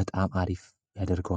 በጣም አሪፍ ያደርገዋል።